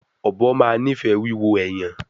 Ọbọ ma nifẹ wiwo ẹyan